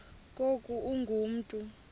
ngoku ungu mntu